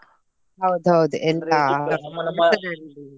ಹೌದೌದು .